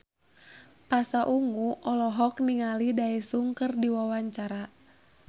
Pasha Ungu olohok ningali Daesung keur diwawancara